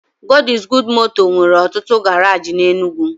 God is Good moto nwere otutu garaji n'Enugwu.